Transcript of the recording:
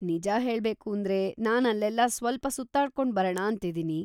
ನಿಜ ಹೇಳ್ಬೇಕೂಂದ್ರೆ, ನಾನ್ ಅಲ್ಲೆಲ್ಲ ಸ್ವಲ್ಪ ಸುತ್ತಾಡ್ಕೊಂಡ್ ಬರಣ ಅಂತಿದೀನಿ.